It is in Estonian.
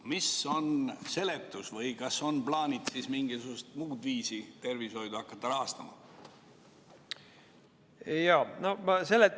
Mis on selle seletus või kas on plaanis mingisugusel muul viisil tervishoidu rahastama hakata?